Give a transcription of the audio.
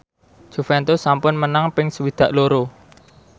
Juventus sampun menang ping swidak loro